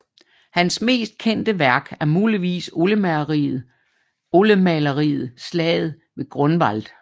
Hans mest kendte værk er muligvis oliemaleriet Slaget ved Grunwald